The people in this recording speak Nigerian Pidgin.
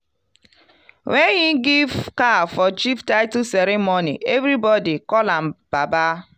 when he give cow for chief title ceremony everybody call am "baba".